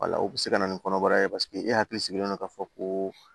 wala o be se ka na ni kɔnɔbara ye paseke e hakili sigilen don k'a fɔ ko